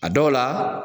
A dɔw la